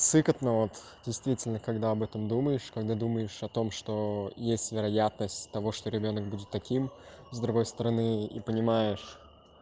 страшно вот действительно когда об этом думаешь когда думаешь о том что есть вероятность того что ребёнок будет таким с другой стороны и понимаешь